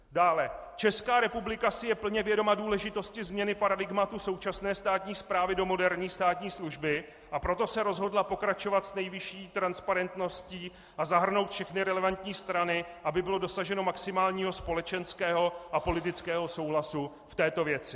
Dále: "Česká republika si je plně vědoma důležitosti změny paradigmatu současné státní správy do moderní státní služby, a proto se rozhodla pokračovat s nejvyšší transparentností a zahrnout všechny relevantní strany, aby bylo dosaženo maximálního společenského a politického souhlasu v této věci."